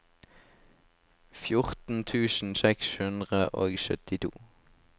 fjorten tusen seks hundre og syttito